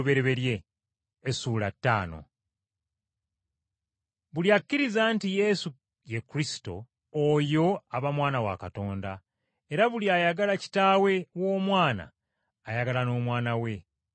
Buli akkiriza nti Yesu ye Kristo, oyo aba mwana wa Katonda, era buli ayagala kitaawe w’omwana ayagala n’omwana we.